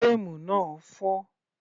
Frame náà fọ́